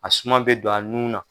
A suma bɛ don a nun na.